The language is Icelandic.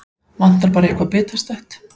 Vantar bara eitthvað bitastætt.